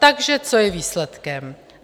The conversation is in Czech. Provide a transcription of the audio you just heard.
Takže co je výsledkem?